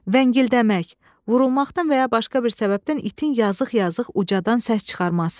Vəngildəmək, vurulmaqdan və ya başqa bir səbəbdən itin yazıq-yazıq ucadan səs çıxarması.